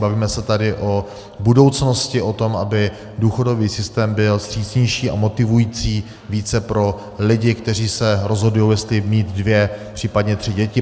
Bavíme se tady o budoucnosti, o tom, aby důchodový systém byl vstřícnější a motivující více pro lidi, kteří se rozhodují, jestli mít dvě, případně tři děti.